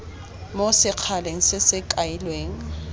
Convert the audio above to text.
mo sekgaleng se se kailweng